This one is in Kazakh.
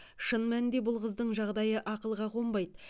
шын мәнінде бұл қыздың жағдайы ақылға қонбайды